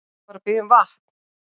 Hann var að biðja um vatn.